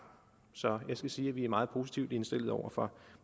så jeg skal sige at vi er meget positivt indstillet over for